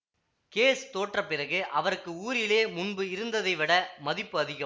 case தோற்ற பிறகு அவருக்கு ஊரிலே முன்பு இருந்ததைவிட மதிப்பு அதிகம்